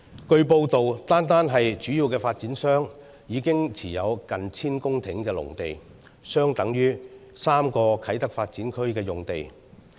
據報道，單是主要發展商，已經持有近千公頃的農地，相等於3個啟德發展區用地。